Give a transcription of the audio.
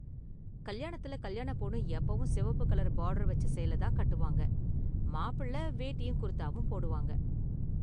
கல்யாணத்துல கல்யாண பொண்ணு எப்போவும் சிவப்பு கலர் பார்டர் வெச்ச சேலை தான் கட்டுவாங்க, மாப்பிள்ளை வேட்டியும் குர்தாவும் போடுவாங்க.